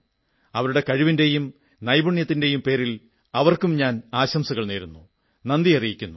അവരുടെ കഴിവിന്റെയും നൈപുണ്യത്തിന്റെയും പേരിൽ അവർക്കും ആശംസകൾ നേരുന്നു നന്ദി അറിയിക്കുന്നു